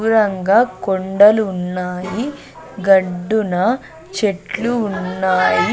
దూరంగా కొండలు ఉన్నాయి గడ్డున చెట్లు ఉన్నాయి.